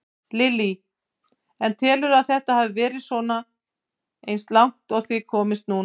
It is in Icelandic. Lillý: En telurðu að þetta hafi svona verið eins og langt og þið komist núna?